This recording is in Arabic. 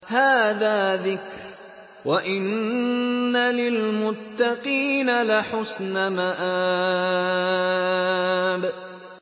هَٰذَا ذِكْرٌ ۚ وَإِنَّ لِلْمُتَّقِينَ لَحُسْنَ مَآبٍ